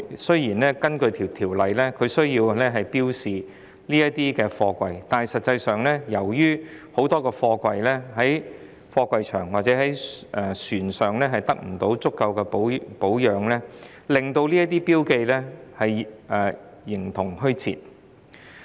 雖然根據《條例草案》需要標示這些貨櫃，但實際上，由於很多貨櫃在貨櫃場或在船上得不到足夠的保養，令這些標記形同虛設。